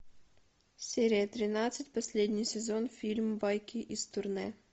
серия тринадцать последний сезон фильм байки из турне